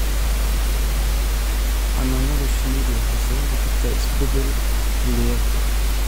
Xannaanada shinnidu waxay sababi kartaa isbeddel xilliyeedka.